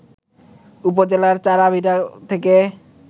উপজেলার চাড়াভিটা থেকে